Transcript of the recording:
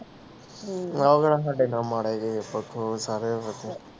ਸਾਡੇ ਮਾਮਾ ਰਹਿ ਕੇ ਗਿਆ ਪਰਸੋਂ